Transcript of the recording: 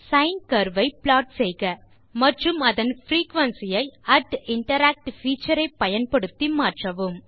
sign curve ஐ plot செய்க மற்றும் அதன் பிரீகுயன்சி ஐ interact பீச்சர் ஐ பயன்படுத்தி மாற்றவும்